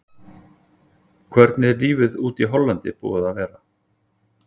Hvernig er lífið úti í Hollandi búið að vera?